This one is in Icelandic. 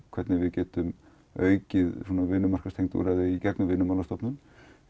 hvernig við getum aukið vinnumarkaðsúrræði í gegnum Vinnumálastofnun